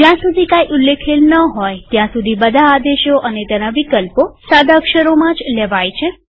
જ્યાં સુધી કઈ ઉલ્લેખેલ ન હોય ત્યાં સુધી બધા આદેશો અને તેના વિકલ્પો સાદા અક્ષરોમાં જ લેવાય છે